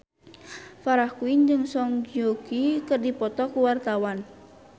Farah Quinn jeung Song Joong Ki keur dipoto ku wartawan